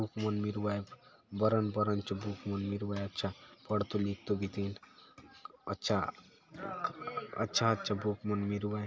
बुक मन मिरू आय बरन बरन चो बुक मन मिरू आय अच्छा पढ़तो लिखतो बीतिन अच्छा अच्छा अच्छा बुक मन मिरुआय।